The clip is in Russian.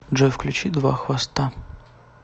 джой включи два хвоста